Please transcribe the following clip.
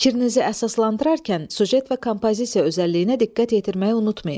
Fikrinizi əsaslandırarkən süjet və kompozisiya özəlliyinə diqqət yetirməyi unutmayın.